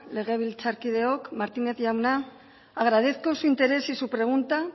legebiltzarkideok martínez jauna agradezco su interés y su pregunta